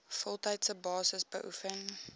voltydse basis beoefen